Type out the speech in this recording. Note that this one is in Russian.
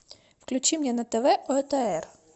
включи мне на тв отр